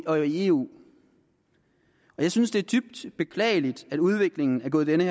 og i eu jeg synes det er dybt beklageligt at udviklingen er gået den